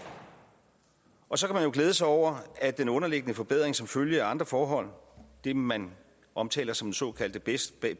og så kan man jo glæde sig over at den underliggende forbedring som følge af andre forhold det man omtaler som den såkaldte baseline